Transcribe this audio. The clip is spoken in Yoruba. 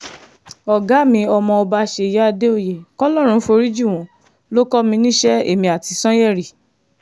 ọ̀gá mi ọmọọba ṣèyí àdèòye kọlọ́run forí jì wọ́n ló kọ́ mi níṣẹ́ èmi àti sànyérì